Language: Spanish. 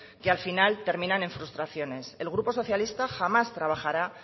que al final terminan en frustraciones el grupo socialista jamás trabajará